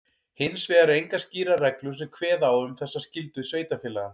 Hins vegar eru engar skýrar reglur sem kveða á um þessa skyldu sveitarfélaga.